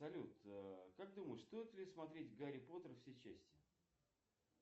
салют как думаешь стоит ли смотреть гарри поттер все части